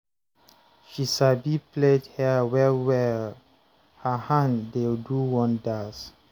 She sabi plait hair well-well, her hand dey do wonders